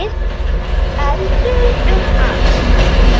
Eldur um allt.